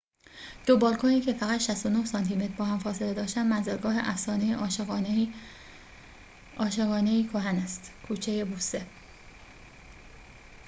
callejon del beso کوچه بوسه. دو بالکنی که فقط 69 سانتی‌متر با هم فاصله داشتند منزلگاه افسانه عاشقانه‌ای کهن است